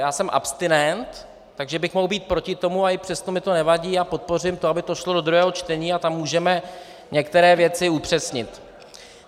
Já jsem abstinent, takže bych mohl být proti tomu, a i přesto mi to nevadí a podpořím to, aby to šlo do druhého čtení, a tam můžeme některé věci upřesnit.